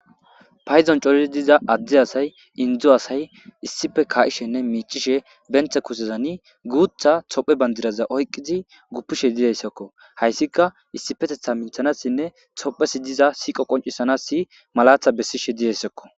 Paydon coridi diza indi asay adde asay issippe shiiqidi miicishenne kaa'ishe benta kushezani guutha Tophiya bandiraza oykidi guppishe dizaysako. Hayssika issipetetha minthanassinne Tophiyassi diza sijqo qoncisanas malata bessishe dizaysako.